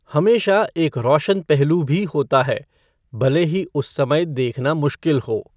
हमेशा एक रोशन पहलू भी होता है, भले ही उस समय देखना मुश्किल हो।